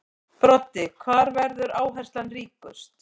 Broddi: Hvar verður áherslan ríkust?